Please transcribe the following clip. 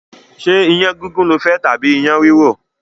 Ṣé iyán gígún lofẹ́ tàbí iyán rìrò?